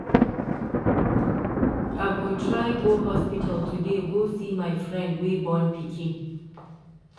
I go try go hospital today go see my friend wey born pikin.